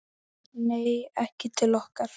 Nei, ekki til okkar